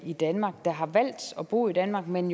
i danmark der har valgt at bo i danmark men